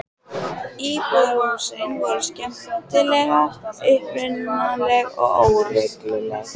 Íbúðarhúsin voru skemmtilega upprunaleg og óregluleg.